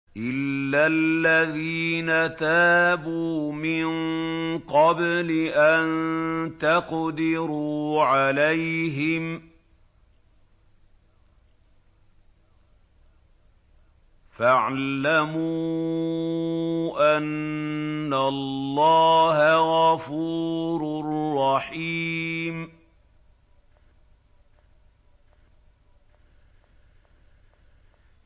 إِلَّا الَّذِينَ تَابُوا مِن قَبْلِ أَن تَقْدِرُوا عَلَيْهِمْ ۖ فَاعْلَمُوا أَنَّ اللَّهَ غَفُورٌ رَّحِيمٌ